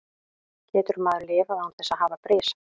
Getur maður lifað án þess að hafa bris?